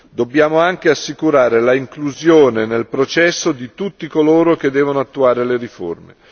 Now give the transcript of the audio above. Dobbiamo anche assicurare l'inclusione nel processo di tutti coloro che devono attuare le riforme.